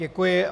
Děkuji.